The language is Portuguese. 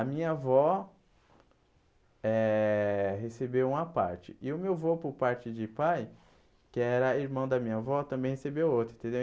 A minha avó eh recebeu uma parte e o meu avô, por parte de pai, que era irmão da minha avó, também recebeu outra, entendeu?